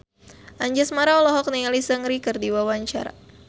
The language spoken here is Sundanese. Anjasmara olohok ningali Seungri keur diwawancara